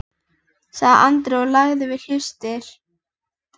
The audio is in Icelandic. sagði Andri og lagði við hlustir.